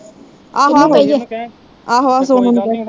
ਆਹੋ ਆਹੋ, ਆਹੋ ਆਹੋ ਸੋਨੂੰ ਨੂੰ ਕਹਿਣ